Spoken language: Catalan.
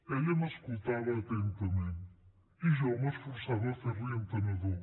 ella m’escoltava atentament i jo m’esforçava a fer l’hi entenedor